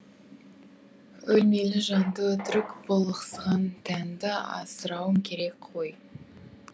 өлмелі жанды өтірік бұлықсыған тәнді асырауым керек қой